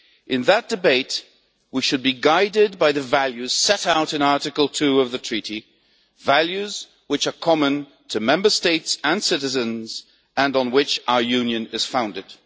In that debate, we should be guided by the values set out in Article 2 of the Treaty on European Union, values which are common to Member States and citizens, and on which our Union is founded.